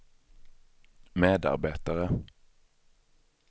medarbetare